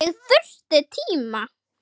Nú, er það?